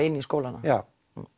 inn í skólana já